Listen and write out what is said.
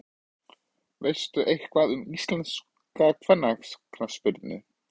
Veistu eitthvað um íslenska kvennaknattspyrnu?